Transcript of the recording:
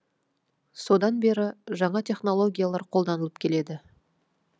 содан бері жаңа технологиялар қолданылып келеді